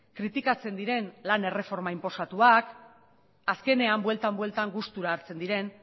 kritikatzen diren lan erreforma inposatuak azkenean buelta bueltan gustura hartzen diren